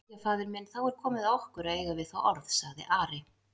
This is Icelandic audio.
Jæja, faðir minn, þá er komið að okkur að eiga við þá orð, sagði Ari.